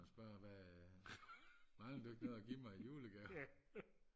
og spørge hvad mangler du ikke noget at give mig i julegave